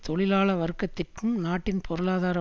தொழிலாள வர்க்கத்திற்கும் நாட்டின் பொருளாதார